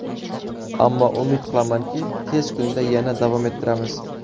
Ammo umid qilamanki, tez kunda yana davom ettiramiz.